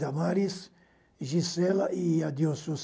Damaris, Gisela e Adilson.